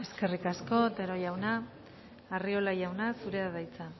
dejo eskerrik asko otero jauna arriola jauna zurea da hitza